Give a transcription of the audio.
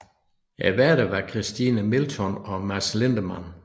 Værterne var Christine Milton og Mads Lindemann